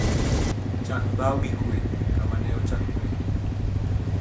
chak dhao gi kwe kama ne ochakore